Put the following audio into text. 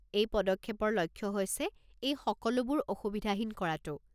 এই পদক্ষেপৰ লক্ষ্য হৈছে এই সকলোবোৰ অসুবিধাহীন কৰাটো।